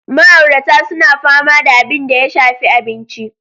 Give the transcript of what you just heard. Ma'auratan suna fama da abin da ya shafi abinci.